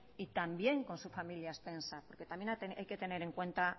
y también con su familia extensa porque también hay que tener en cuenta